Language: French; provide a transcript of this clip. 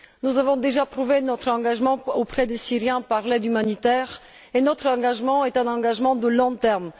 Nous avons déjà prouvé notre engagement auprès des Syriens par l'aide humanitaire et notre engagement est un engagement à long terme.